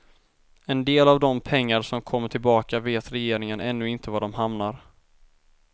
En del av de pengar som kommer tillbaka vet regeringen ännu inte var de hamnar.